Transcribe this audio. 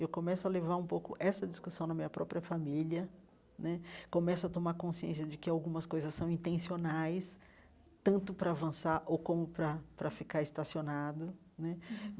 Eu começo a levar um pouco essa discussão na minha própria família né, começo a tomar consciência de que algumas coisas são intencionais, tanto para avançar ou como para para ficar estacionado né uhum.